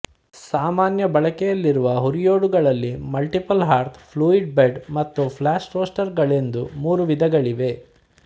ಸಾಮಾನ್ಯ ಬಳಕೆಯಲ್ಲಿರುವ ಹುರಿಯೋಡುಗಳಲ್ಲಿ ಮಲ್ಟಿಪಲ್ ಹಾರ್ತ್ ಫ್ಲೂಯಿಡ್ ಬೆಡ್ ಮತ್ತು ಫ್ಲಾಷ್ ರೋಸ್ಟರುಗಳೆಂದು ಮೂರು ವಿಧಗಳಿವೆ